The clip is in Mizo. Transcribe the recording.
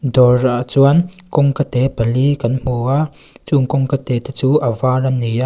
dawrah chuan kawngka te pali kan hmu a chu'ng kawngka te te chu a var an ni a.